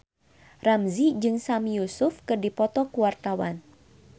Ramzy jeung Sami Yusuf keur dipoto ku wartawan